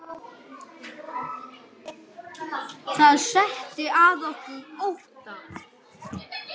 Það setti að okkur ótta.